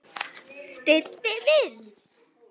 Diddi minn!